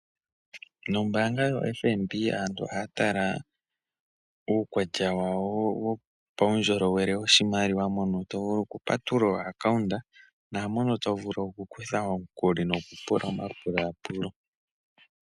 Nombaanga yoFNB aantu ohaya tala uukwatya wawo wo pa wundjolowele wo shimaliwa mono to vulu oku patulula oakaunta, naamono to vulu oku kutha omukuli noku pula omapulaapulo.